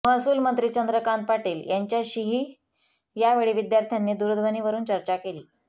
महसूलमंत्री चंद्रकांत पाटील यांच्याशीही यावेळी विद्यार्थ्यांनी दूरध्वनीवरून चर्चा केली